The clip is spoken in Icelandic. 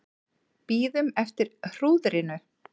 Bíðum eftir hrúðrinu